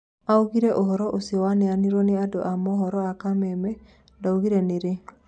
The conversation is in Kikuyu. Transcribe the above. Augiri ũhoro ũcio wanereirwo nĩ andũ a mũhoro a kameme ndaugire nĩ rĩ